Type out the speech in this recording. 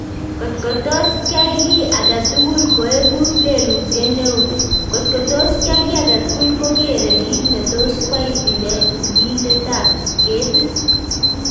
Kotko tos kyai kii agetukul koekuu leelutyet neon ....kotko tos kyai kii agetukul kokeree kiit netos kwai tiliindetab ketiit